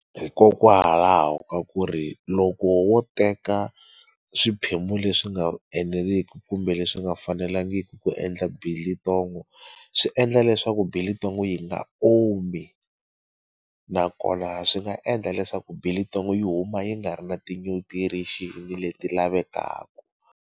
Hikokwalaho ka ku ri loko wo teka swiphemu leswi nga eneliki kumbe leswi nga fanelangiki ku endla biltong swi endla leswaku biltong yi nga omi nakona swi nga endla leswaku biltong yi huma yi nga ri na ti nutrition leti lavekaka.